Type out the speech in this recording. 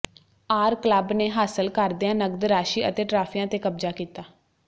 R club ਨੇ ਹਾਸਲ ਕਰਦਿਆਂ ਨਗਦ ਰਾਸ਼ੀ ਅਤੇ ਟਰਾਫੀਆਂ ਤੇ ਕਬਜ਼ਾ ਕੀਤਾ